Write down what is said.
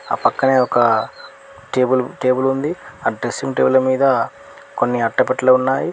ఆ పక్కనే ఒక టేబుల్ టేబుల్ ఉంది. ఆ డ్రెస్సింగ్ టేబుల్ మీద కొన్ని అట్టపెట్టెలు ఉన్నాయి.